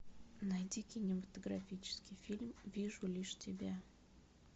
найди кинематографический фильм вижу лишь тебя